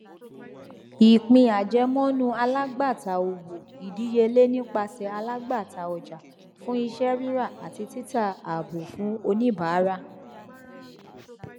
ìpín àjẹmọnú alágbàtà owó ìdíyelé nipasẹ alágbàtà ọjà fún iṣẹ ríra àti títa àábò fún oníbàárà